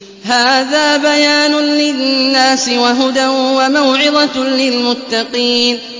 هَٰذَا بَيَانٌ لِّلنَّاسِ وَهُدًى وَمَوْعِظَةٌ لِّلْمُتَّقِينَ